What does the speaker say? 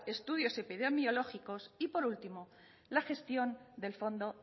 estudios epidemiológicos y por último la gestión del fondo